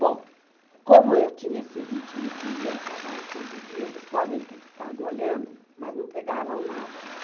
Bom, como eu tinha esse ritmo de ir ao trabalho todo dia, eles podem ter ficado olhando, mas não pegavam nada, né?